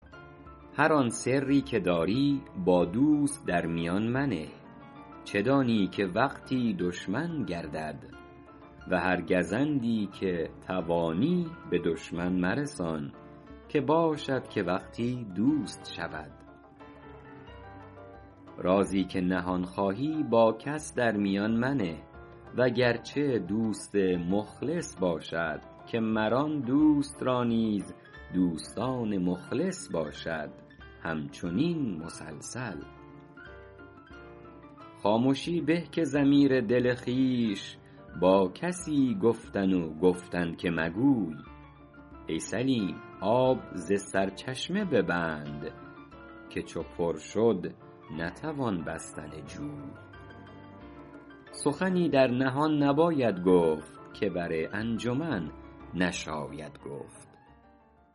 هر آن سری که در سر داری با دوست در میان منه چه دانی که وقتی دشمن گردد و هر گزندی که توانی به دشمن مرسان که باشد که وقتی دوست شود رازی که نهان خواهی با کس در میان منه وگرچه دوست مخلص باشد که مر آن دوست را نیز دوستان مخلص باشد همچنین مسلسل خامشی به که ضمیر دل خویش با کسی گفتن و گفتن که مگوی ای سلیم آب ز سرچشمه ببند که چو پر شد نتوان بستن جوی سخنی در نهان نباید گفت که بر انجمن نشاید گفت